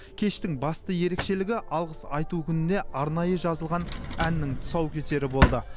кештің басты ерекшелігі алғыс айту күніне арнайы жазылған әннің тұсаукесері болды